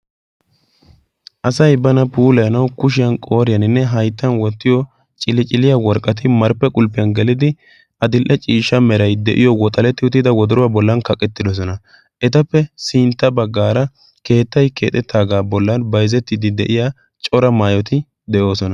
asay bana puulaanau kushiyan qooriyaaninne hayttan wottiyo cili-ciliya worqqati marppe qulppiyan gelidi adil'e ciishsha merai de'iyo woxaletti utida wodoruwaa bollan kaqettidosona etappe sintta baggaara keettay keexettaagaa bollan bayzzettidi de'iya cora maayoti de'oosona